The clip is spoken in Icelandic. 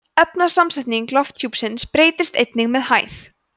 efnasamsetning lofthjúpsins breytist einnig með hæð